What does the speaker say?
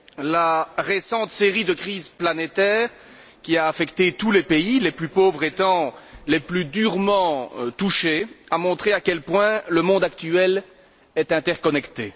La récente série de crises planétaires qui a affecté tous les pays, les plus pauvres étant les plus durement touchés, a montré à quel point le monde actuel est interconnecté.